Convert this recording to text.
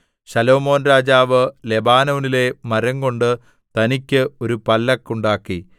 ശലോമോൻ രാജാവ് ലെബാനോനിലെ മരംകൊണ്ട് തനിക്ക് ഒരു പല്ലക്ക് ഉണ്ടാക്കി